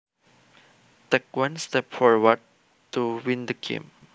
Take one step forward to win the game